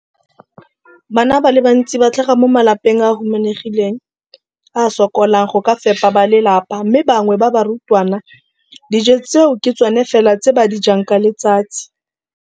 Bana ba le bantsi ba tlhaga mo malapeng a a humanegileng a a sokolang go ka fepa ba lelapa mme ba bangwe ba barutwana, dijo tseo ke tsona fela tse ba di jang ka letsatsi.